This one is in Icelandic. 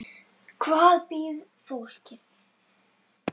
Hvar býr fólkið?